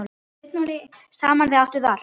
Saman þið áttuð allt.